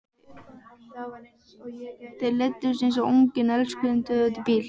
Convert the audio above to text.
Þau leiddust eins og ungir elskendur út í bíl.